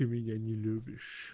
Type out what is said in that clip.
ты меня не любишь